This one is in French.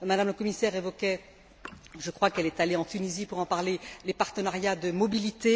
Mme la commissaire évoquait je crois qu'elle est allée en Tunisie pour en parler les partenariats de mobilité.